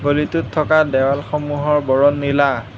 গলিটোত থকা দেৱাল সমূহৰ বৰণ নীলা।